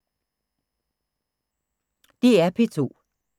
DR P2